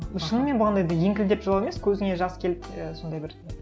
шынымен болғанда енді еңкілдеп жылау емес көзіңе жас келіп і сондай бір